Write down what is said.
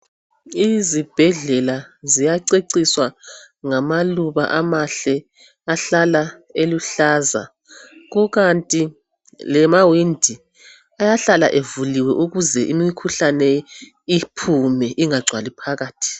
Izibhedlela ziyaceciswa ngama luba amahle ahlala eluhlaza kukanti lamawindi ayahlala evuliwe ukuze imikhuhlane iphume ingagcwali phakathi